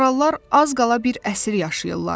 Marallar az qala bir əsr yaşayırlar.